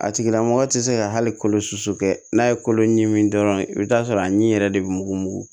A tigila mɔgɔ tɛ se ka hali kolo susu kɛ n'a ye kolo ɲimi dɔrɔn i bɛ t'a sɔrɔ a ɲimi yɛrɛ de bɛ mugu